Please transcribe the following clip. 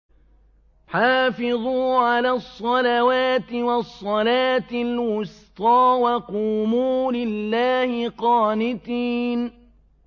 حَافِظُوا عَلَى الصَّلَوَاتِ وَالصَّلَاةِ الْوُسْطَىٰ وَقُومُوا لِلَّهِ قَانِتِينَ